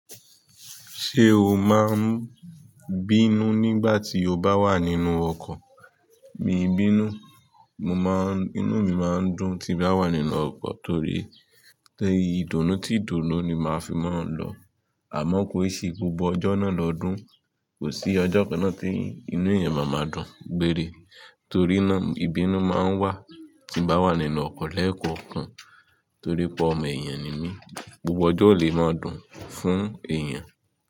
Ṣé o máa ń bínú nígbà tí o bá wà nínú ọkọ̀? Mi ò bínú, mo máa ń, inú mi máa ń dùn tí bá wà nínú ọkọ̀ torí tẹ Ìdùnnú tí ìdùnnú ni màá fi máa ń lọ. Àmọ́ kó ṣe gbogbo ọjọ́ náà lọdún, kò sí ọjọ́ kan náà tí inú èèyàn má máa dùn gbére torí náà ìbínú máa ń wà tí bá wà nínú ọkọ̀ lẹ́ẹ̀kọ̀ọ̀kan torí pé ọmọ èèyàn ni mí. Gbogbo ọjọ́ ò lè máa dùn fún èèyàn.